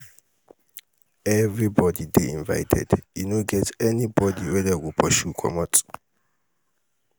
everybody dey invited e no get anybody wey dey go pursue comot.